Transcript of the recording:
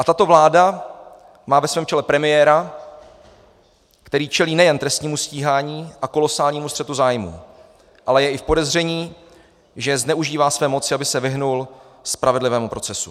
A tato vláda má ve svém čele premiéra, který čelí nejen trestnímu stíhání a kolosálnímu střetu zájmů, ale je i v podezření, že zneužívá své moci, aby se vyhnul spravedlivému procesu.